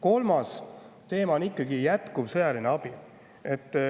Kolmas teema on jätkuv sõjaline abi.